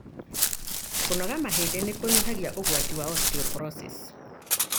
Kũnogora mahĩndĩ nĩkũnyihagia ũgwati wa osteoporosis.